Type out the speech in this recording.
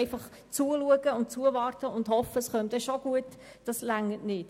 Einfach zuschauen, zuwarten und hoffen, es käme dann schon gut, reicht nicht.